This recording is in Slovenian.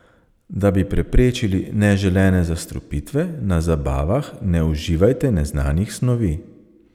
Da bi preprečili neželene zastrupitve, na zabavah ne uživajte neznanih snovi.